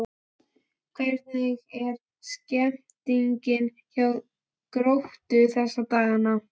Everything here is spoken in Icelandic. Hvernig er stemmningin hjá Gróttu þessa dagana?